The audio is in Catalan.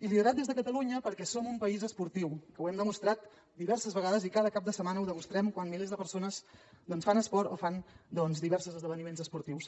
i liderat des de catalunya perquè som un país esportiu ho hem demostrat diverses vegades i cada cap de setmana ho demostrem quan milers de persones fan esport o fan diversos esdeveniments esportius